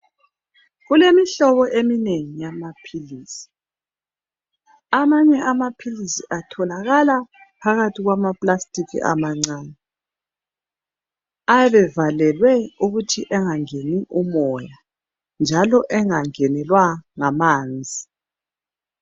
Kulemihlobo eminengi yamaphilisi. Amanye amaphilisi atholakala phakathi kwama plastic amancane ayabe evalelwe ukuthi engangeni imota njalo engangenelwa ngamanzi.